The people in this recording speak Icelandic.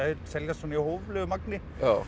seljast svona í hóflegu magni